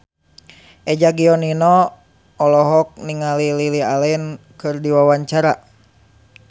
Eza Gionino olohok ningali Lily Allen keur diwawancara